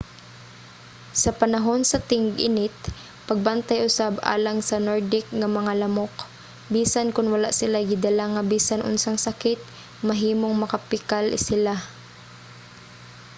sa panahon sa ting-init pagbantay usab alang sa nordic nga mga lamok. bisan kon wala silay gidala nga bisan unsang sakit mahimong makapikal sila